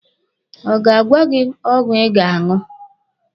Ọ ga-agwa gị ọgwụ ị ga-aṅụ?